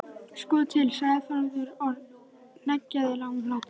Sko til, sagði Þórður og hneggjaði löngum hlátri.